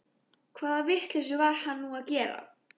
Hvaða vitleysu var hann nú að gera?